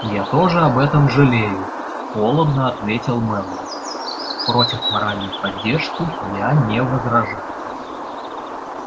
я тоже об этом жалею холодно ответил мэллоу против моральной поддержки я не возражаю